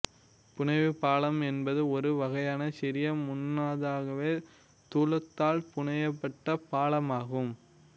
புனைவுப் பாலம் என்பது ஒரு வகையான சிறிய முன்னாதாகவே தூலத்தால் புனையப்பட்ட பாலமாகும்